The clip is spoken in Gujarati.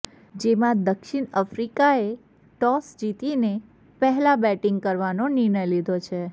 જેમાં દક્ષીણ આફ્રિકાએ ટોસ જીતી ને પહેલા બેટીંગ કરવાનો નિર્ણય લીધો છે